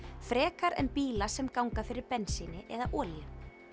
frekar en bíla sem ganga fyrir bensíni eða olíu